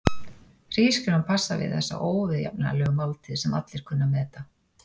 Hrísgrjón passa við þessa óviðjafnanlegu máltíð sem allir kunna að meta.